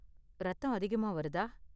ரத்தம் அதிகமா வருதா?